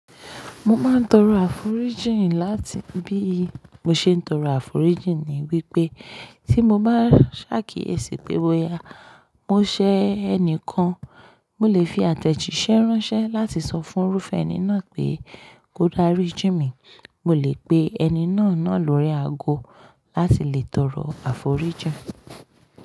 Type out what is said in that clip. Mo máa ń tọrọ àforíjìn láti bí mo ṣe ń tọrọ àforíjìn ni wípé tí mo bá ṣákiyèsí pé boya, mo ṣẹ́ ẹni kan, mo lè fi àtẹ̀jíṣẹ́ ránṣẹ́ láti sọ fún irúfẹ́ ẹni náà pé kó dárí jí mi. Mo lè pe ẹni náà náà lórí aago láti lè tọrọ àforíjìn.